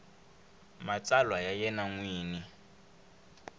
matsalwa ya yena n wini